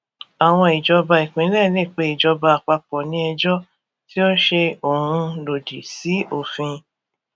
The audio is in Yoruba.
àwọn ìjọba ìpínlẹ lè pé ìjọba àpapọ ní ejò tí ó ṣe òun lòdì sí òfin